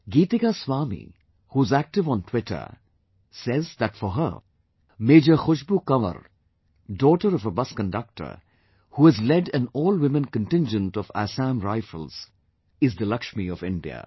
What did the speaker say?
Geetika Swami, who is active on Twitter, says that for her, Major Khushbu Kanwar, daughter of a bus conductor, who has led an all women contingent of Assam Rifles, is the Lakshmi of India